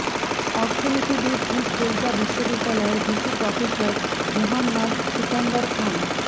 অর্থনীতিবিদ East Delta বিশ্ববিদ্যালয়ের VC professor Muhammad Sikandar খান